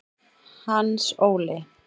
Hans Óli